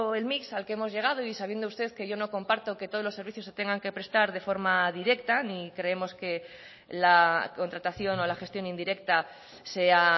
el mix al que hemos llegado y sabiendo usted que yo no comparto que todos los servicios se tengan que prestar de forma directa ni creemos que la contratación o la gestión indirecta sea